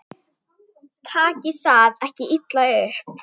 Takið það ekki illa upp.